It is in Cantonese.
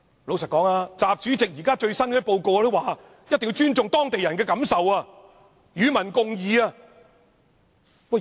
老實說，習主席在最新的報告中也說一定要尊重當地人的感受，與民共議。